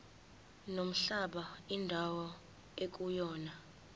nomhlaba indawo ekuyona